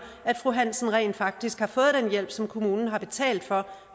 at fru hansen rent faktisk har fået den hjælp som kommunen har betalt for